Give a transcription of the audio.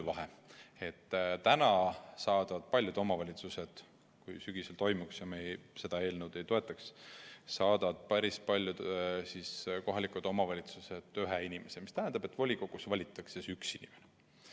saadaksid paljud kohalikud omavalitsused sügisel – juhul, kui me seda eelnõu ei toeta – end esindama ühe inimese, see tähendab, et volikogus valitakse üks inimene.